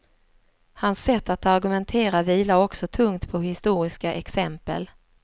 Hans sätt att argumentera vilar också tungt på historiska exempel.